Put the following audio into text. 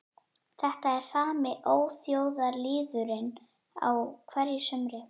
Þetta er sami óþjóðalýðurinn á hverju sumri